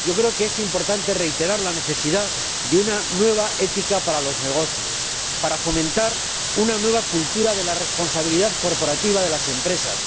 Creo que es importante reiterar la necesidad de una nueva ética para los negocios, para fomentar una nueva cultura de la responsabilidad corporativa de las empresas.